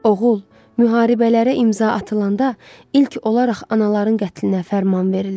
Oğul, müharibələrə imza atılanda ilk olaraq anaların qətlinə fərman verilir.